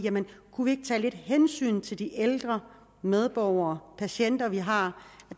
kunne vi ikke tage lidt hensyn til de ældre medborgere og patienter vi har